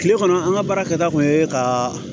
Kile kɔnɔ an ka baara kɛta kun ye ka